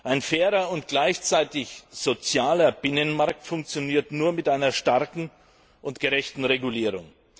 Ein fairer und gleichzeitig sozialer Binnenmarkt funktioniert nur mit einer starken und gerechten Regulierung.